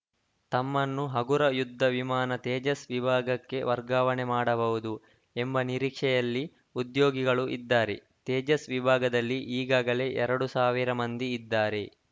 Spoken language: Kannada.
ತಮ್ಮನ್ನು ಹಗುರ ಯುದ್ಧ ವಿಮಾನ ತೇಜಸ್‌ ವಿಭಾಗಕ್ಕೆ ವರ್ಗಾವಣೆ ಮಾಡಬಹುದು ಎಂಬ ನಿರೀಕ್ಷೆಯಲ್ಲಿ ಉದ್ಯೋಗಿಗಳು ಇದ್ದಾರೆ ತೇಜಸ್‌ ವಿಭಾಗದಲ್ಲಿ ಈಗಾಗಲೇ ಎರಡ್ ಸಾವಿರ ಮಂದಿ ಇದ್ದಾರೆ